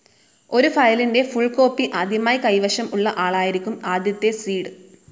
ഒരു ഫയലിന്റെ full copy ആദ്യമായി കൈവശം ഉള്ള ആളായിരിക്കും ആദ്യത്തെ സീഡ്.